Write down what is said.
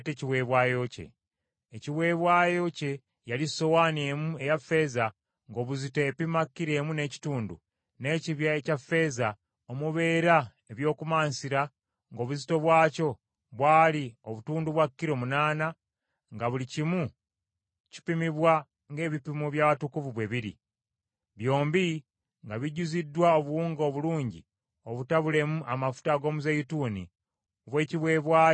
Ekiweebwayo kye yali sowaani emu eya ffeeza ng’obuzito epima kilo emu n’ekitundu, n’ekibya ekya ffeeza omubeera eby’okumansira ng’obuzito bwakyo bwali obutundu bwa kilo, munaana, nga buli kimu kipimibwa ng’ebipimo by’awatukuvu bwe biri, byombi nga bijjuziddwa obuwunga obulungi obutabulemu amafuta ag’omuzeeyituuni obw’ekiweebwayo eky’emmere y’empeke;